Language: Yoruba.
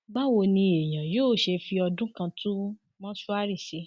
báwo ni èèyàn yóò ṣe fi ọdún kan tún mọṣúárì ṣe